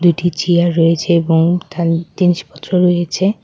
দুইটি চিয়ার রয়েছে এবং তার জিনিসপত্র রয়েছে।